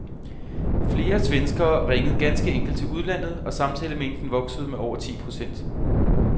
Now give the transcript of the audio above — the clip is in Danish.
Flere svenskere ringede ganske enkelt til udlandet, og samtalemængden voksede med over ti procent.